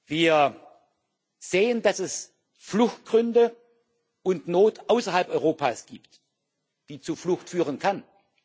Wir sehen, dass es Fluchtgründe und Not außerhalb Europas gibt, die zu Flucht führen können.